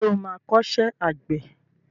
Ṣé o má kọ́ṣẹ́ àgbẹ̀ ẹ?